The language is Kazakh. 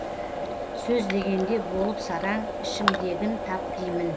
сөз дегенде болып сараң ішімдегін тап деймін